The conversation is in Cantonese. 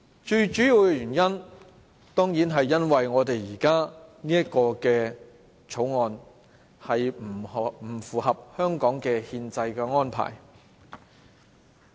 最主要的原因，當然是因為我們現時這項《條例草案》不符合香港的憲制安排。